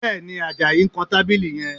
Bẹ́ẹ̀ni, Àjàyí ń kan tábìlì yẹn